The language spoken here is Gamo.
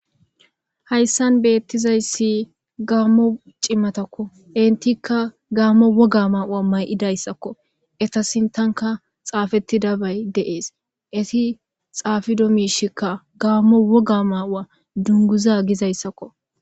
Hayssan beeththizayssi gaammo cimathakko; enthikka gaammo woga maa7uwa may7idayssakko; etha sinththanka xaafeththidabay de7ees; ethi xaafido miishikka gaammo woga maa7uwa dunguza gizayssakko.